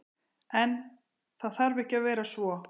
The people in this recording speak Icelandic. En, það þarf ekki að vera svo.